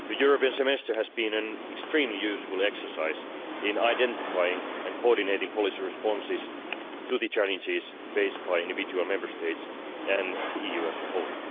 The European Semester has been an extremely useful exercise in identifying and coordinating policy responses to the challenges faced by individual Member States and the EU as a whole.